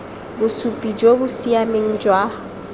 bosupi jo bo siameng jwa